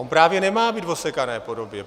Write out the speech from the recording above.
On právě nemá být v osekané podobě.